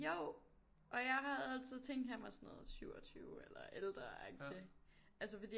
Jo og jeg havde altid tænkt han var sådan noget 27 eller ældre agtigt altså fordi at